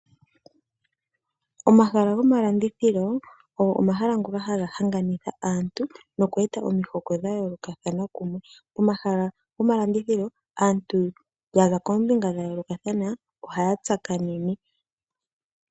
Omahala gomalandithilo ogo omahala ngoka haga hanganitha aantu nokweeta omihoko dha yoolokathana kumwe. Omahala gomalandilithilo aantu yaza koombinga dha yoolokathana ohaya tsakanene.